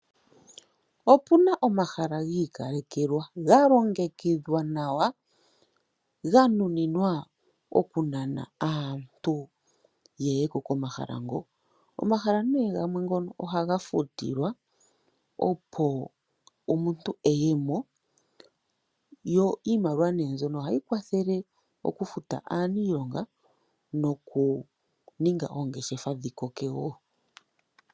Opuna omahala gi ikalekelwa ga longekidhwa nawa ga nuninwa okunana aantu yeye komahala ngo. Komahala nee gamwe ngono ohaga futilwa opo omuntu eyemo yo iimaliwa mbyono ohayi kwathele okufuta aanilonga noku ninga oongeshefa dhi koke.